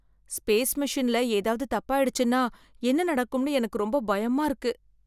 Space மெஷின்ல ஏதாவது தப்பாயிடுச்சுன்னா என்ன நடக்கும்னு எனக்கு ரொம்ப பயமா இருக்கு.